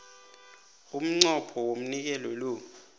umnqopho womnikelo lo